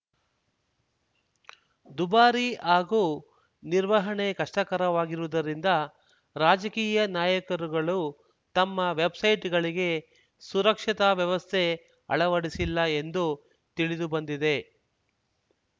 ದುಬಾರಿ ಹಾಗೂ ನಿರ್ವಹಣೆ ಕಷ್ಟಕರವಾಗಿರುವುದರಿಂದ ರಾಜಕೀಯ ನಾಯಕರುಗಳು ತಮ್ಮ ವೆಬ್‌ಸೈಟ್‌ಗಳಿಗೆ ಸುರಕ್ಷತಾ ವ್ಯವಸ್ಥೆ ಅಳವಡಿಸಿಲ್ಲ ಎಂದು ತಿಳಿದು ಬಂದಿದೆ